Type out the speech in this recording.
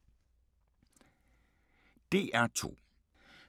DR2